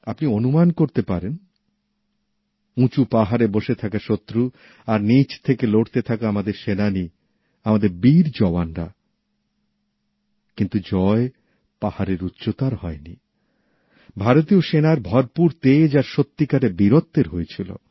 আপনি অনুমান করতে পারেন উঁচু পাহাড়ে বসে থাকা শত্রু আর নীচ থেকে লড়তে থাকা আমাদের সেনা জওয়ানরা আমাদের বীর জওয়ানরা কিন্তু জয় পাহাড়ের উচ্চতার হয় নি ভারতীয় সেনার ভরপুর তেজ আর সত্যিকারের বীরত্বের হয়েছিল